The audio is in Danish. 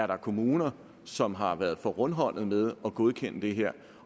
der er kommuner som har været for rundhåndede med at godkende det her